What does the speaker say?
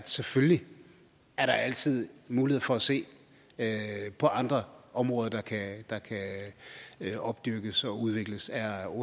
selvfølgelig altid er mulighed for at se på andre områder der kan kan opbygges og udvikles er